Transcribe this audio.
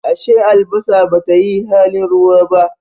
Ashe albasa Bata yi halin ruwa ba?